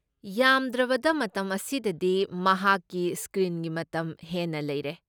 ꯌꯥꯝꯗ꯭ꯔꯕꯗ ꯃꯇꯝ ꯑꯁꯤꯗꯗꯤ ꯃꯍꯥꯛꯀꯤ ꯁ꯭ꯀ꯭ꯔꯤꯟꯒꯤ ꯃꯇꯝ ꯍꯦꯟꯅ ꯂꯩꯔꯦ꯫